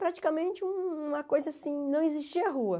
Praticamente uma coisa assim, não existia rua.